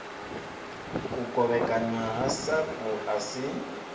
u kovhekanywa ha sapu asi